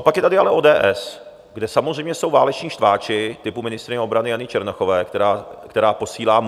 A pak je tady ale ODS, kde samozřejmě jsou váleční štváči typu ministryně obrany Jany Černochové, která posílá